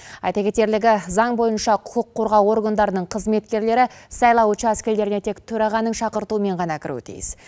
айта кетерлігі заң бойынша құқық қорғау органдарының қызметкерлері сайлау учаскелеріне тек төрағаның шақыртуымен ғана кіруі тиіс